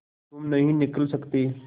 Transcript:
तुम नहीं निकल सकते